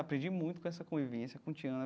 Aprendi muito com essa convivência com Tiana.